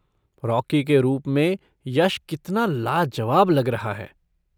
Rocky के रूप में यश कितना लाजवाब लग रहा है।